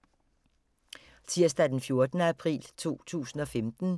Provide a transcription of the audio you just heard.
Tirsdag d. 14. april 2015